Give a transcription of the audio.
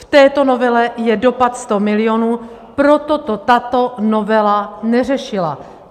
V této novele je dopad 100 milionů, proto to tato novela neřešila.